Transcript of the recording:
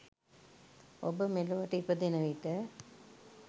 ඔබ මෙලොවට ඉපදෙන විට